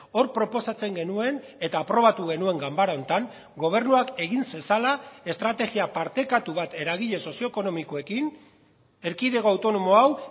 hor proposatzen genuen eta aprobatu genuen ganbara honetan gobernuak egin zezala estrategia partekatu bat eragile sozioekonomikoekin erkidego autonomo hau